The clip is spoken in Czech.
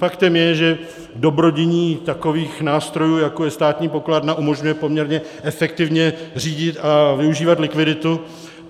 Faktem je, že dobrodiní takových nástrojů, jako je státní pokladna, umožňuje poměrně efektivně řídit a využívat likviditu.